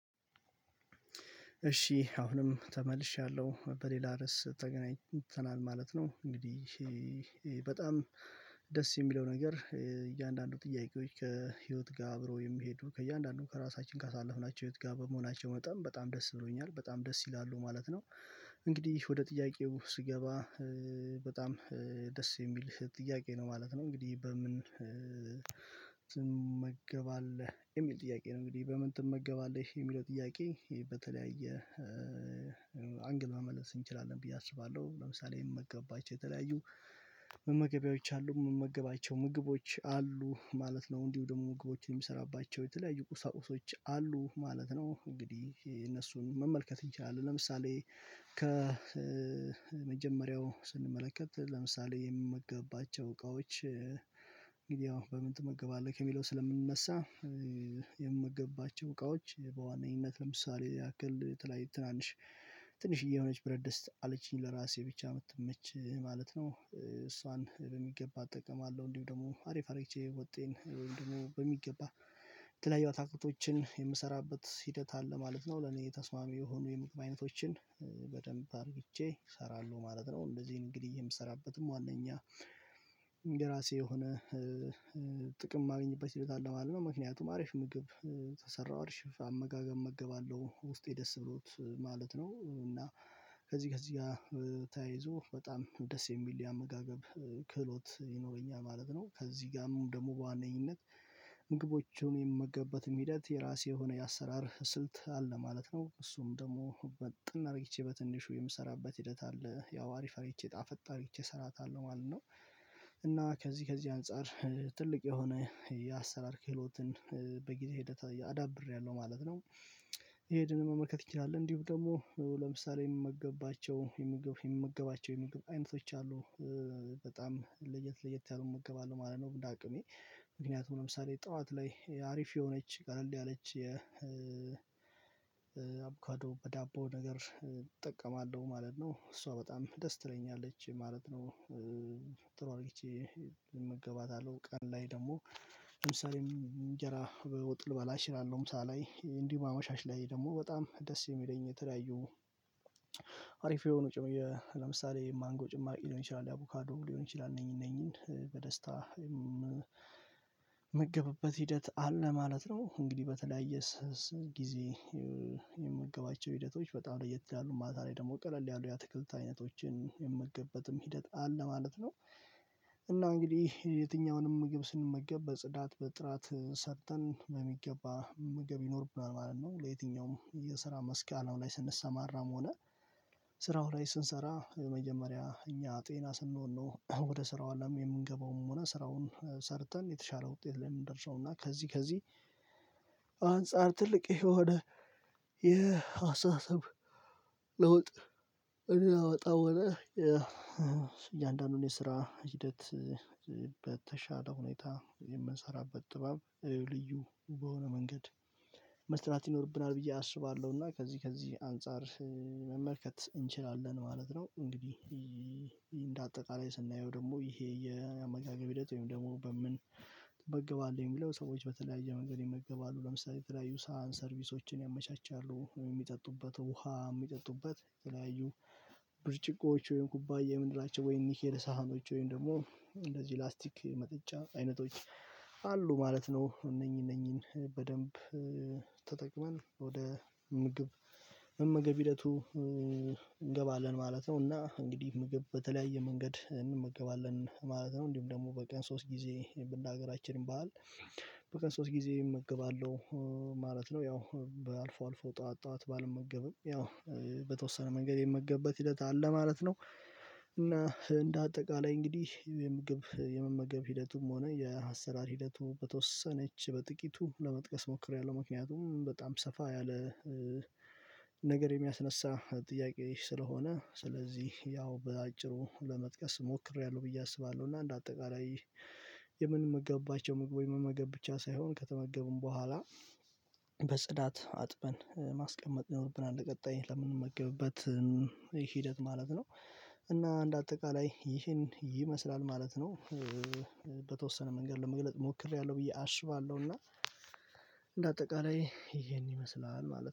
እሺ አሁንም ተመልሻለሁ በሌላ ርዕስ ተገናኝተናል ማለት ነው እንግዲህ በጣም ደስ የሚለው ነገር እያንዳንዱ ጥያቄዎች ከህይወት ጋር አብረው የሚሄዱ ከእያንዳንዱ ከራሳችን ካሳለፍናቸው ህይወት ጋር በመሆናቸው መጠን በጣም ደስ ብሎኛል በጣም ደስ ይላሉ ማለት ነው። እንግዲህ ወደ ጥያቄው ስገባ በጣም ደስ የሚል ጥያቄ ነው ማለት ነው። እንግዲህ በምን ትመገባለህ የሚል ጥያቄ ነው እንግዲህ በምን ትመገባለህ የሚለው ጥያቄ በተለያየ አንግል መመለስ እንችላለን ብዬ አስባለሁ። ለምሳሌ የምመገብባቸው የተለያዩ መመገቢያዎች አሉ የምመገባቸው ምግቦች አሉ ማለት ነው እንዲሁ ደግሞ ምግቦችን የምሰራባቸው የተለያዩ ቁሳቁሶች አሉ ማለት ነው። እንግዲህ የነሱን መመልከት እንችላለን። ለምሳሌ ከ ከመጀመሪያው ስንመለከት ለምሳሌ የምመገብባቸው እቃዎች እንግዲህ ያው በምን ትመገባለህ ከሚለው ስለምንነሳ የምመገባቸው እቃዎች በዋነኝት ለምሳሌ ያክል የተለያዩ ትናንሽ ትንሽዬ የሆነች ብረት ድስት አለችኝ ለራሴ ብቻ የምትመች ማለት ነው። እሷን በሚገባ እጠቀማ ለሁ እንዲሁ ደግሞ አሪፍ አድርጌ ወጤን ወይም ደግሞ በሚገባ የተለያዩ አታክልቶችን የምሰራበት ሂደት አለ ማለት ነው። ለኔ የተስማሚ የሆኑ የምግብ አይነቶችን በደንብ አድርጌ እሰራለሁ ማለት ነው። እንደዚህም እንግዲህ የምሰራበትም ዋነኛ የራሴ የሆነ ጥቅም የማግኘት ቤት አለ ማለት ነው። ምክንያቱም አሪፍ ምግብ ከሰራው አሪፍ አመጋገብ እመገባለሁ ውስጤ ደስ ብሎት ማለት ነው። እና ከዚህ ከዚህ ጋር ተያይዞ በጣም ደስ የሚል የአመጋገብ ክህሎት ይኖረኛል ማለት ነው። ከዚህ ጋርም ደግሞ በዋነኝነት ምግቦቹን የምመገብበትም ሂደት የራሴ የሆነ የአሰራር ስልት አለ ማለት ነው። እሱም ደግሞ ምጥን አድርጌ በትንሹ የምሰራበት ሂደት አለ ያው አሪፍ አድርጌ ጣፈጥ አርጌ እሰራታለሁ ማለት ነው። እና ከዚህ ከዚህ አንፃር ትልቅ የሆነ የአሰራር ክህሎትን በጊዜ ሂደት የ አዳብሬያለሁ ማለት ነው። ይሄድን መመልከት እንችላለን እንዲሁ ደግሞ ለምሳሌ የምመገባቸው የምግብ የምመገባቸው የምግብ አይነቶች አሉ በጣም ለየት ለየት ያሉ እመገባለሁ ማለት ነው። እንደ አቅሜ ምክንያቱም ለምሳሌ ጠዋት ላይ አሪፍ የሆነች ቀለል ያለች አቦካዶ በዳቦ ነገር እጠቀማለሁ ማለት ነው። እሷ በጣም ደስ ትለኛለች ማለት ነው። ጥሩ አድርጌ እመገባታለሁ ቀን ላይ ደግሞ ለምሳሌ እንጀራ በወጥ ልበላ እችላለሁ ምሳላይ እንዲሁ አመሻሽ ላይ ደግሞ በጣም ደስ የሚለኝ የተለያዩ አሪፍ የሆኑ ጭም የ ለምሳሌ የማንጎ ጭማቂ ሊሆን ይችላል የአቮካዶ ሊሆን ይችላል እነኚህ እነኚህን በደስታ የምመገብበት ሂደት አለ ማለት ነው። እንግዲህ በተለያየ ስስ ጊዜ የምመገባቸው ሂደቶች በጣም ለየት ይላሉ ማታ ላይ ደግሞ ቀለል ያሉ የአትክልት አይነቶችን የምመገበትም ሂደት አለ ማለት ነው። እና እንግዲህ የትኛውንም ምግብ ስንመገብ በጽዳት በጥራት ሰርተን በሚገባ መመገብ ይኖርብናል ማለት ነው። ለየትኛውም የስራ መስክ አላማ ላይ ስንሰማራም ሆነ ስራው ላይ ስንሰራ የመጀመሪያ እኛ ጤና ስንሆን ነው ወደ ስራው አለም የምንገባውም ሆነ ስራውን ሰርተን የተሻለ ውጤት ላይ ነው የምንደርሰው እና ከዚህ ከዚህ ትልቅ የሆ ነ የአስተሳሰብ ለውጥ የምናመጠው እያንዳንዱን የስራ ሂደት በተሻለ ሁኔታ የምንሰራበት ጥበብ ልዩ በሆነ መንገድ መስራት ይኖርብናል ብዬ አስባለሁና ከዚህ ከዚህ አንፃር መመልከት እንችላለን ማለት ነው። እንግዲህ እንደ አጠቃላይ ስናየው ደግሞ ይሄ የአመጋገብ ሂደት ወይም ደግሞ በምን ትመገባለህ የሚለው ሰዎች በተለያየ መንገድ ይመገባሉ ለምሳሌ ተለያዩ ሳህን ሰርቪሶችን ያመቻቻሉ የሚጠጡበት ውሃ የሚጠጡበት የተለያዩ ብርጭቆዎች ወይም ኩባያ የምንላቸው ወይም ኒኬል ሳህኖች ወይም ደግሞ እንደዚህ ላስቲክ መጠጫ አይነቶች አሉ ማለት ነው እነኚህ እነኚህን በደንብ ተጠቅመን ወደ ምግብ መመገብ ሂደቱ እንገባለን ማለት ነው። እና እንግዲህ ምግብ በተለያየ መንገድ እንመገባለን ማለት ነው እንዲሁም ደግሞ በቀን ሶስት ጊዜ ብ እንደ አገራችን ባህል በቀን ሶስት ጊዜ እመገባለሁ ማለት ነው። ያው በአልፎ አልፎ ጠዋት ጠዋት ባልመገብም ያው በተወሰነ መንገድ የምመገብበት ሂደት አለ ማለት ነው። እና እንደ አጠቃላይ እንግዲህ የምግብ የመመገብ ሂደቱም ሆነ የአሰ ራር ሂደቱ በተወሰነች በጥቂቱ ለመጥቀስ ሞክሬያለሁ ምክንያቱም በጣም ሰፋ ያለ የሚያስነሳ ጥያቄ ስለሆነ ስለዚህ ያው በአጭሩ ለመጥቀስ ሞክሬያለሁ ብዬ አስባለሁ። እና እንደ አጠቃላይ የምንመገብባቸው ወይም መመገብ ብቻ ሳይሆን ከተመገቡም በኋላ በጽዳት አጥበን ማስቀመጥ ይኖርብናል ለቀጣይ ለምንመገብበት ሂደት ማለት ነው። እና እንደ አጠቃላይ ይሄን ይመስላል ማለት ነው። በተወሰነ መንገድ ለመግለጽ ሞክሬያለሁ ብዬ አስባለሁና እንደ አጠቃላይ ይሄን ይመስላል ማለት ነው